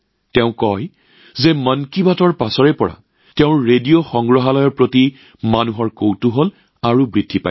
তেওঁ কয় যে মন কী বাতৰ পিছত তেওঁৰ ৰেডিঅ মিউজিয়ামৰ প্ৰতি মানুহৰ কৌতুহল আৰু বাঢ়িছে